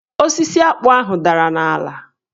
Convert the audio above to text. Osisi akpụ ahụ dara n'ala.